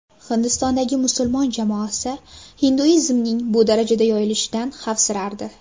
Hindistondagi musulmon jamoasi hinduizmning bu darajada yoyilishidan xavfsirardi.